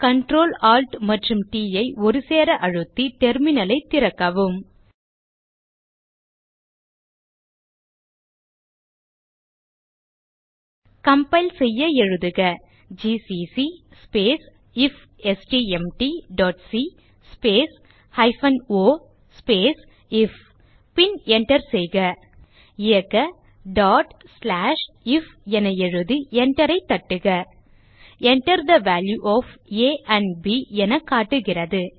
Ctrl Alt மற்றும் T ஐ ஒருசேர அழுத்தி டெர்மினல் ஐ திறக்கவும் கம்பைல் செய்ய எழுதுக ஜிசிசி ifstmtசி o ஐஎஃப் பின் enter செய்க இயக்க if என எழுதி enter ஐ தட்டுக Enter the value of a and b என காட்டுகிறது